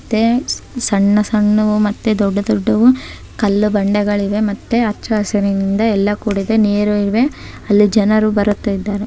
ಇರುತ್ತೆ ಸಣ್ಣ ಸಣ್ಣವು ಮತ್ತು ದೊಡ್ಡ ದೊಡ್ಡವು ಕಲ್ಲು ಬಂಡೆಗಳಿವೆ ಮತ್ತು ಹಚ್ಚ ಹಸಿರಿನಿಂದ ಎಲ್ಲ ಕೂಡಿದೆ ನೀರು ಇದೆ ಅಲ್ಲಿ ಜನರು ಬರುತಿದ್ದಾರೆ .